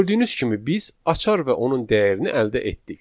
Gördüyünüz kimi biz açar və onun dəyərini əldə etdik.